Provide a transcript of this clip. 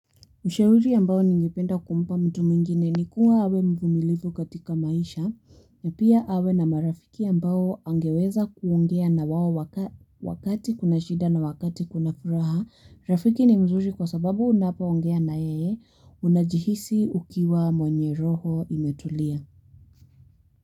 Ushauri ambao ningependa kumpa mtu mwingine ni kuwa awe mvumilivu katika maisha, na pia awe na marafiki ambao angeweza kuongea na wao wakati kuna shida na wakati kuna furaha. Rafiki ni mzuri kwa sababu unapoongea na yeye, unajihisi ukiwa mwenye roho imetulia.